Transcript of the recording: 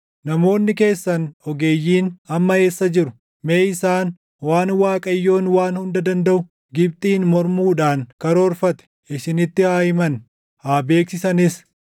Namoonni keessan ogeeyyiin amma eessa jiru? Mee isaan waan Waaqayyoon Waan Hunda Dandaʼu Gibxiin mormuudhaan karoorfate; isinitti haa himan; haa beeksisanis.